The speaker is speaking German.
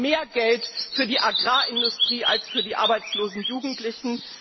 Wir haben mehr Geld für die Agrarindustrie als für die arbeitslosen Jugendlichen.